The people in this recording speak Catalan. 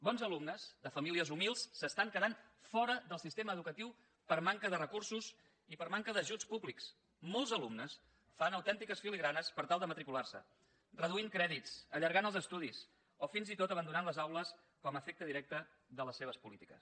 bons alumnes de famílies humils s’estan quedant fora del sistema educatiu per manca de recursos i per manca d’ajuts públics molts alumnes fan autèntiques filigranes per tal de matricular se reduint crèdits allargant els estudis o fins i tot abandonant les aules com a efecte directe de les seves polítiques